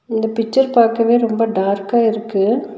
இந்த பிச்சர் பாக்கவே ரொம்ப டார்க்கா இருக்கு.